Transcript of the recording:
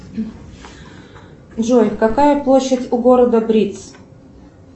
джой какая площадь у города бриц